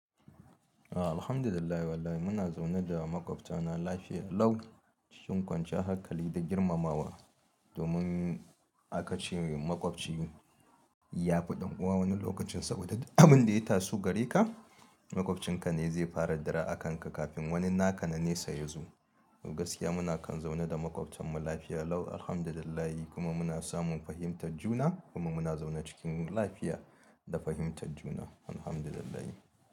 Alhamdulillah wallahi muna zaune da maƙwabta na lafiya lau cikin kwanciyar hakali da girmamawa. Domin aka ce maƙwabci ya fi ɗan uwa wani lokacin saboda dukan abin da ya tasu gare ka, maƙwabcinka ne zai fara dara a kanka kafin wani na ƙananen sa ya zo. Gaskiya muna kan zaune da maƙwabtanmu lafiya lau Alhamdulillah kuma muna samun fahimtar juna kuma muna zaune cikin lafiya da fahimtar juna Alhamdulillahi.